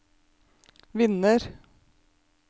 vinner